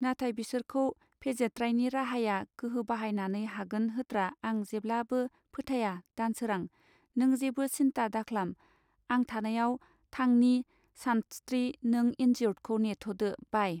नाथाय बिसोरखौ फेजेत्रायनि राहाया गोहो बाहायनानै हागोन होत्रा आं जेब्लाबो फोथाया दानसोरां नों जेबो सिन्था दाख्लाम आं थानायाव थांनि सानस्त्रि नों इनजिउर्दखौ नेथदो बाइ.